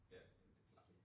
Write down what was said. Ja, det klart